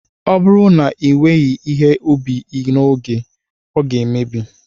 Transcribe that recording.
Ọ bụrụ na iweghị ihe ubi gị n'oge, ọ ga-emebi